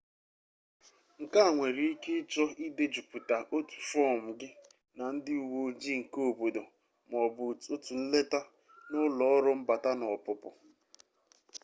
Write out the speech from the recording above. nke a nwere ike ịchọ idejupụta otu fọọm gị na ndị uwe ojii keobodo ma ọ bụ otu nleta na ụlọ ọrụ mbata na ọpụpụ